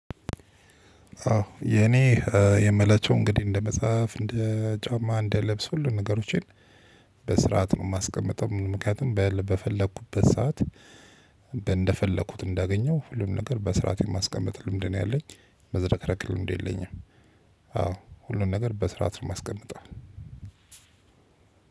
አዎ የኔ የምላቸው እንግዲህ እንደ መጽሐፍ እንደ ጫማ እንደ ለብስ ሁሉ ንገሮችን በስርዓት ነው የማስቀምጠው። ምክንያቱም በፈለኩበት ሰዓት እንደፈለኩት እንዳገኘው ሁሉም ነገር በስርዓት የማስቀምጥ ልምድ ነው። ያለኝ መዝረክረክ ልምድ የለኝም። አዎ ሁሉን ነገር በስርዓት ነው የማስቀምጠው።